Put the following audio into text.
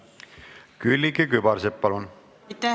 Külliki Kübarsepp, palun!